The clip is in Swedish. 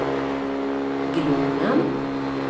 Glommen